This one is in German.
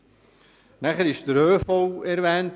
Zudem wurde der ÖV erwähnt.